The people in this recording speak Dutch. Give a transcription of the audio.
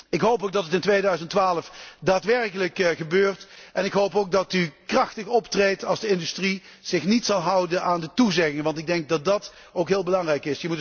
Ik hoop ook dat dit in 2012 daadwerkelijk gebeurt en ik hoop ook dat u krachtig optreedt als de industrie zich niet houdt aan de toezegging, want dat is ook heel belangrijk.